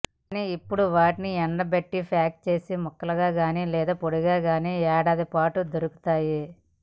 కానీ ఇప్పడు వాటిని ఎండబెట్టి ప్యాక్ చేసిన ముక్కలుగానీ లేదా పొడిగానీ ఏడాది పొడవునా దొరుకుతాయి